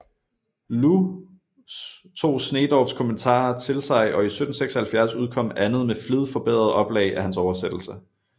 Lous tog Sneedorffs kommentarer til sig og i 1776 udkom Andet med Flid forbedret Oplag af hans oversættelse